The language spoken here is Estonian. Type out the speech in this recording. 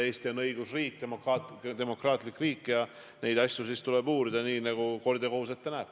Eesti on õigusriik, demokraatlik riik ja neid asju tuleb uurida nii, nagu kord ja kohus ette näeb.